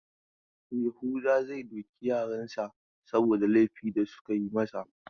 Yahuza zai doki yaran sa saboda laifi da suka yi masa.